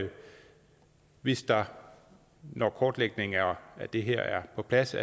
hvis der når kortlægningen af det her er på plads